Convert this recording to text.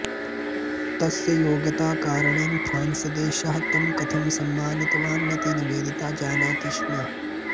तस्य योग्यताकारणेन फ्रान्स् देशः तं कथं सम्मानितवानिति निवेदिता जानाति स्म